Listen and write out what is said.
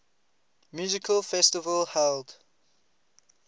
music festival held